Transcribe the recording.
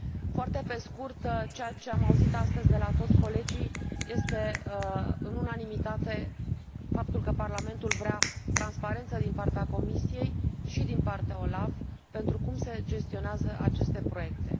Foarte pe scurt, ceea ce am auzit astăzi de la toți colegii este în unanimitate faptul că Parlamentul vrea transparență din partea Comisiei și din partea OLAF pentru cum se gestionează aceste proiecte.